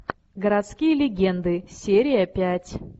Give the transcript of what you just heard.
городские легенды серия пять